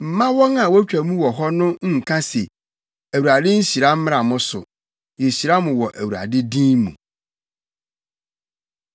Mma wɔn a wotwa mu wɔ hɔ no nka se, “ Awurade nhyira mmra mo so; yehyira mo wɔ Awurade din mu.”